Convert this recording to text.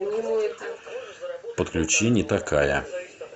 подключи не такая